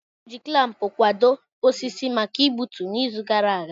E ji klampu kwado osisi maka igbutu, n'izu gara aga.